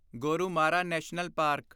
Gorumara national park